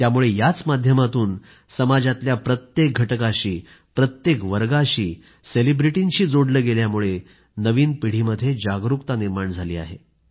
त्यामुळे याच माध्यमातून समाजातल्या प्रत्येक घटकाशी प्रत्येक वर्गाशी सेलेब्रिटींशी जोडलं गेल्यामुळे नवीन पिढीमध्ये जागरुकता निर्माण झाली आहे